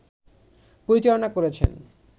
পরিচালনা করেছেন